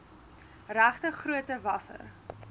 regte grootte wasser